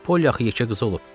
Polli axı yekə qız olub.